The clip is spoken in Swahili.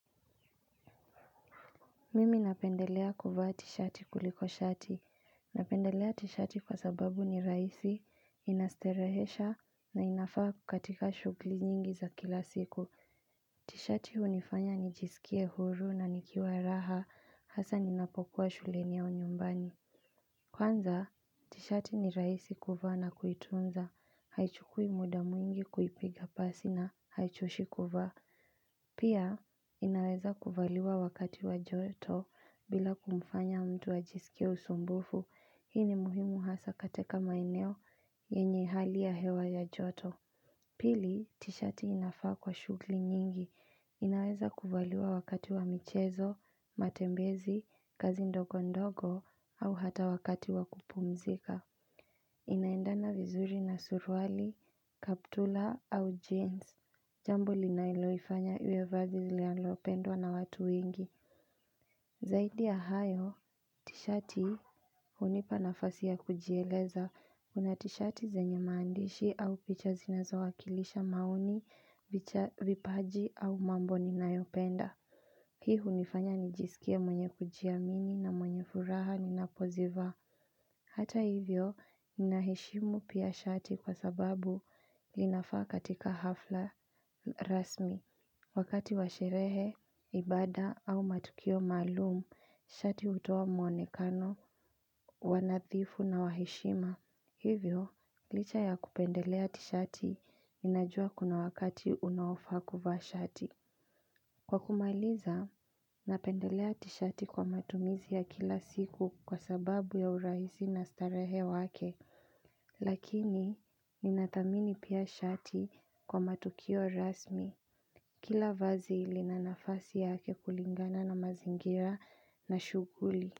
Mimi napendelea kuvaa tishati kuliko shati, napendelea tishati kwa sababu ni rahisi, inastarehesha na inafaa katika shughuli nyingi za kila siku. Tishati hunifanya nijisikie huru na nikiwa raha hasa ninapokuwa shuleni au nyumbani. Kwanza tishati ni rahisi kuvaa na kuitunza, haichukui muda mwingi kuipiga pasi na haichoshi kuvaa. Pia, inaweza kuvaliwa wakati wa joto bila kumfanya mtu ajisikie usumbufu, hii ni muhimu hasa katika maeneo yenye hali ya hewa ya joto. Pili, tishati inafaa kwa shughuli nyingi, inaweza kuvaliwa wakati wa michezo, matembezi, kazi ndogo ndogo au hata wakati wa kupumzika. Inaendana vizuri na suruali, kaptura au jeans jambo linaloifanya iwe vazi linalopendwa na watu wengi. Zaidi ya hayo, tishati hunipa nafasi ya kujieleza kuna tishati zenye maandishi au picha zinazowakilisha maoni, vipaji au mambo ninayopenda. Hii hunifanya nijisikie mwenye kujiamini na mwenye furaha ninapozivaa. Hata hivyo, ninaheshimu pia shati kwa sababu linafaa katika hafla rasmi. Wakati wa sherehe, ibaada au matukio maalumu, shati hutoa mwonekano wa nadhifu na wa heshima. Hivyo, licha ya kupendelea tishati ninajua kuna wakati unaofaa kuvaa shati. Kwa kumaliza, napendelea tishati kwa matumizi ya kila siku kwa sababu ya urahisi na starehe wake lakini ninathamini pia shati kwa matukio rasmi Kila vazi lina nafasi yake kulingana na mazingira na shughuli.